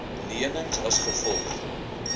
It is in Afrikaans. lenings as gevolg